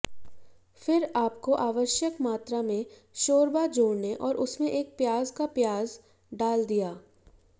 फिर आपको आवश्यक मात्रा में शोरबा जोड़ने और उसमें एक प्याज का प्याज डाल दिया